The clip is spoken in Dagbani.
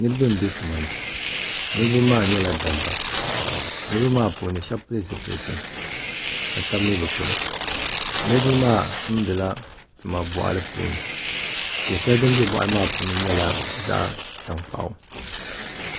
Niraba n bɛ tuma ni niraba maa nyɛla dabba niraba maa puuni shab pili zipiliti ka shab mii bi pili niraba maa tumdila tuma boɣali puuni ko shɛli din bɛ boɣali maa puuni nyɛla zaɣ tankpaɣu